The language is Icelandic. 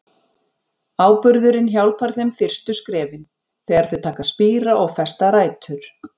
Áburðurinn hjálpar þeim fyrstu skrefin, þegar þau taka að spíra og festa rætur.